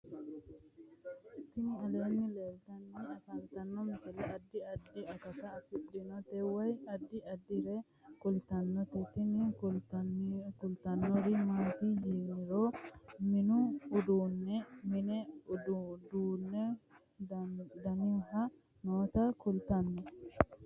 Tini aleenni leetannoti biifado misile adi addi akata afidhinote woy addi addire kultannote tini kultannori maati yiniro mini uduunne mine duuchu danihu noota kultanno